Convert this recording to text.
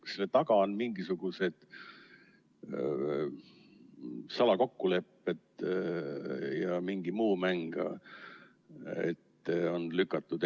Kas selle taga on mingisugused salakokkulepped ja mingi muu mäng?